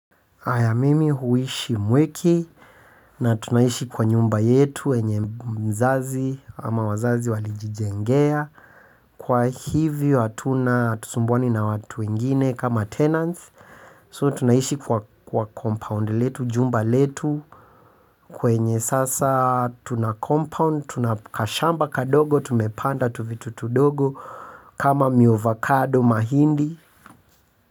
Haya mimi huishi mwiki na tunaishi kwa nyumba yetu yenye mzazi ama wazazi walijijengea. Kwa hivyo hatuna hatusumbwani na watu wegine kama tenants. So tunaishi kwa compound letu, jumba letu kwenye sasa tuna compound, tuna kashamba kadogo, tumepanda tuvitu tudogo kama miovakado mahindi.